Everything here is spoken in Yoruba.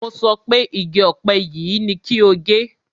Mo sọ pé igi ọ̀pẹ yìí ni kí o gé!